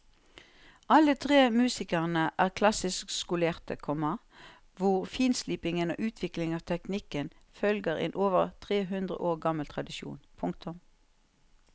Alle tre musikerne er klassisk skolerte, komma hvor finslipingen og utviklingen av teknikken følger en over tre hundre år gammel tradisjon. punktum